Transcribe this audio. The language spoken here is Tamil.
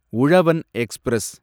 உழவன் எக்ஸ்பிரஸ்